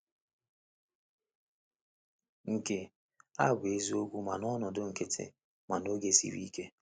Nke a bụ eziokwu ma n’ọnọdụ nkịtị ma n’oge siri ike.